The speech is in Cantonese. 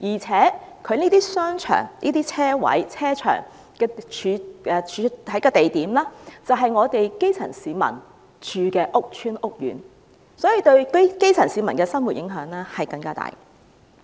此外，這些商場和停車場的地點就是基層市民居住的屋邨和屋苑，因此對基層市民的生活影響更大。